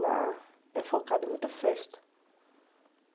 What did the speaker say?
Lá é focado em muita festa.